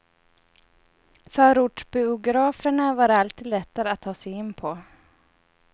Förortsbiograferna var alltid lättare att ta sig in på.